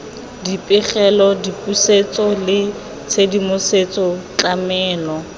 dipegelo dipusetso le tshedimosetso tlamelo